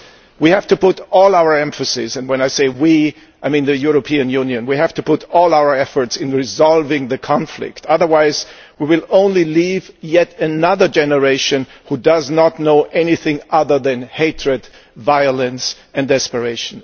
We have to put all our emphasis and when I say we, I mean the European Union, we have to put all our efforts into resolving the conflict, otherwise we will only leave yet another generation which does not know anything other than hatred, violence and desperation.